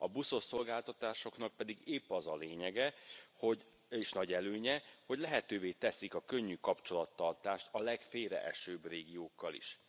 A buszos szolgáltatásoknak pedig épp az a lényege, hogy, és nagy előnye, hogy lehetővé teszik a könnyű kapcsolattartást a legfélreesőbb régiókkal is.